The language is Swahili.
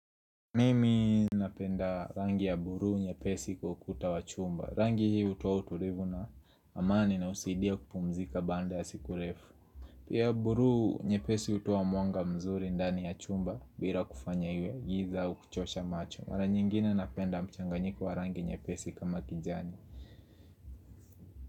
Mimi napenda rangi ya buruu nyepesi kwa ukuta wa chumba Rangi hii utoa utulivu na amani na husidia kupumzika baanda ya siku refu Pia buruu nyepesi hutoa mwanga mzuri ndani ya chumba bira kufanya iwe giza uu kuchosha macho Mara nyingine napenda mchanganyiko wa rangi nyepesi kama kijani.